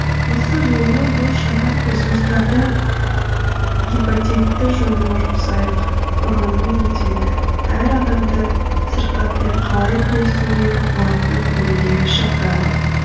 осы жолы бұл шара ресурстарды гепатитті жоюға жұмсайық ұранымен өтеді әр адамды сырқатпен қалай күресуге болатынын білуге шақырады